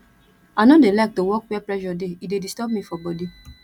i no dey like to work where pressure dey e dey disturb me for body